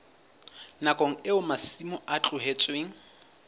nakong eo masimo a tlohetsweng